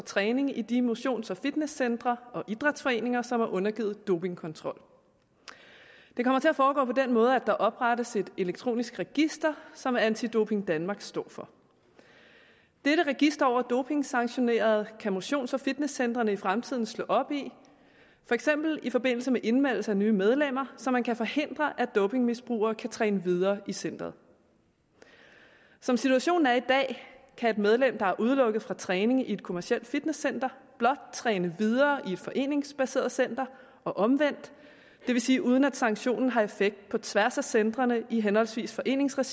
træning i de motions og fitnesscentre og idrætsforeninger som er undergivet dopingkontrol det kommer til at foregå på den måde at der oprettes et elektronisk register som anti doping danmark står for dette register over dopingsanktionerede kan motions og fitnesscentrene i fremtiden slå op i for eksempel i forbindelse med indmeldelse af nye medlemmer så man kan forhindre at dopingmisbrugere kan træne videre i centeret som situationen er i dag kan et medlem der er udelukket fra træning i et kommercielt fitnesscenter blot træne videre i et foreningsbaseret center og omvendt det vil sige uden at sanktionen har effekt på tværs af centrene i henholdsvis foreningsregi